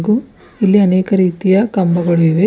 ಉ ಇಲ್ಲಿ ಅನೇಕ ರೀತಿಯ ಕಂಬಗಳಿವೆ.